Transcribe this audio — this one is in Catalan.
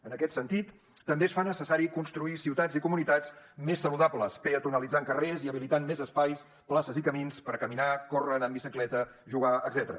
en aquest sentit també es fa necessari construir ciutats i comunitats més saludables peatonalitzar carrers i habilitar més espais places i camins per caminar córrer anar en bicicleta jugar etcètera